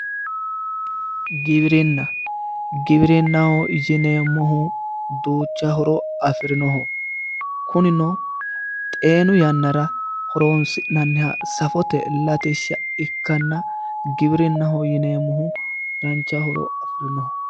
Giwirinna Giwirinnaho yineemmohu duucha horo afirinoho Kunino xeenu yannara horonisi'nanniha ikkanna safote Latishsha ikkanna giwirinnaho yineemohu danicha horo afirino